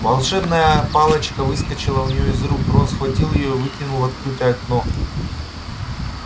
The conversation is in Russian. волшебная палочка выскочила у неё из рук рон схватил её и выкинул в открытое окно